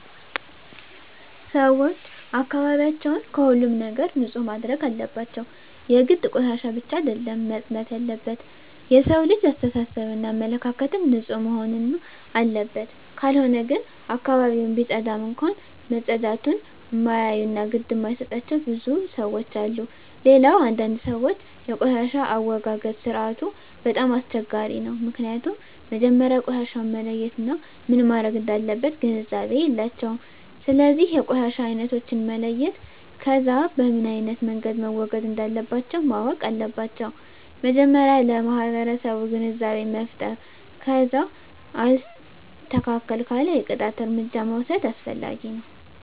ሰወች አካባቢያቸውን ከሁሉም ነገር ንፁህ ማድረግ አለባቸው የግድ ቆሻሻ ብቻ አደለም መፅዳት የለበት የሠው ልጅ አሰተሳሰብ እና አመለካከትም ንፁህ መሆንና አለበት ካልሆነ ግን አካባቢውን ቢፀዳም እንኳ መፀዳቱን እማያዮ እና ግድ እማይጣቸው ብዙ ለሠዎች አሉ። ሌላው አንዳንድ ሰወች የቆሻሻ አወጋገድ ስርዓቱ በጣም አስቸጋሪ ነው ምክኒያቱም መጀመሪያ ቆሻሻውን መለየት እና ምን መረግ እንዳለበት ግንዛቤ የላቸውም ስለዚ የቆሻሻ አይነቶችን መለየት ከዛ በምኖ አይነት መንገድ መወገድ እንለባቸው ማወቅ አለባቸው መጀመሪያ ለማህበረሰቡ ግንዛቤ መፍጠር ከዛ አልስተካክል ካለ የቅጣት እርምጃ መውስድ አስፈላጊ ነው